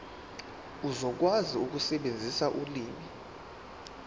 uzokwazi ukusebenzisa ulimi